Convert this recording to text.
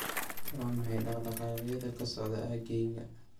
Waa maxay dhaqdhaqaaqyada ka socda aaggayga?